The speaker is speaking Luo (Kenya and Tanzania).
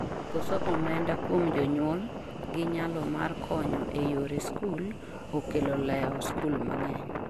Koso omenda kuom jonyuol gi nyalo mar konyo e yore skul okelo leo skul mang'eny